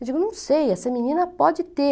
Eu digo, não sei, essa menina pode ter...